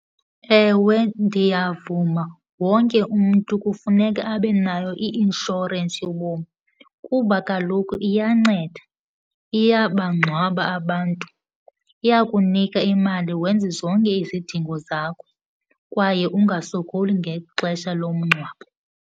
Ewe ndiyavuma, wonke umntu kufuneka abe nayo i-inshorensi yobomi kuba kaloku iyanceda. Iyabangcwaba abantu, iyakunika imali wenze zonke izidingo zakho kwaye ungasokoli ngexesha lomngcwabo.